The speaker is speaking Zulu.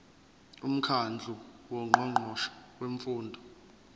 umkhandlu wongqongqoshe bemfundo